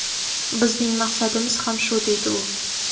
Bizning maqsadimiz ham shu, deydi u.